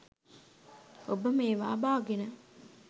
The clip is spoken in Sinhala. ඔබ මේවා බාගෙන